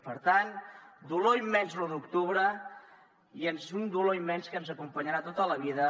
per tant dolor immens l’u d’octubre i un dolor immens que ens acompanyarà tota la vida